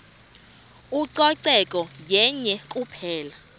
ucoceko yenye kuphela